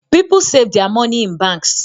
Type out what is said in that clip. People sav their money in banks